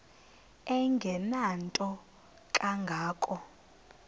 engenanto kanga ko